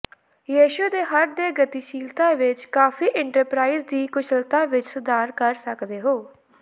ਯਿਸੂ ਦੇ ਹਰ ਦੇ ਗਤੀਸ਼ੀਲਤਾ ਵਿਚ ਕਾਫ਼ੀ ਇੰਟਰਪਰਾਈਜ਼ ਦੀ ਕੁਸ਼ਲਤਾ ਵਿੱਚ ਸੁਧਾਰ ਕਰ ਸਕਦੇ ਹੋ